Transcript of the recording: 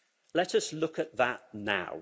Let us look at that now.